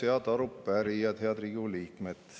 Head arupärijad, head Riigikogu liikmed!